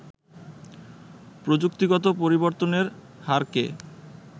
প্রযুক্তিগত পরিবর্তনের হারকে